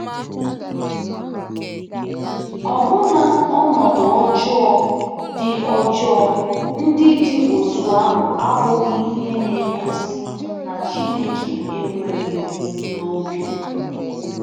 Ọbụna ọnọdụ ọjọọ ndị ọjọọ ndị dị otú ahụ abụghị ihe na-egosi na Chineke ekweghị n’obi.